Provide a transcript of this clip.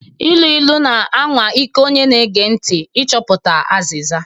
Ilu ilu na-anwa ike onye na-ege ntị ịchọpụta azịza.